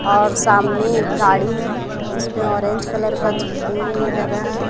और सामने गाड़ी है उसपे ऑरेंज कलर का झिल्ली लगा है।